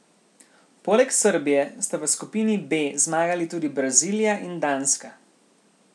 Poleg Srbije sta v skupini B zmagali tudi Brazilija in Danska.